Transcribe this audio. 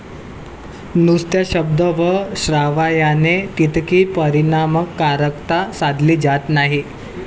नुसत्या शब्द व श्राव्याने तितकी परिणामकारकता साधली जात नाही.